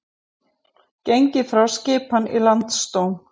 Gengið frá skipan í Landsdóm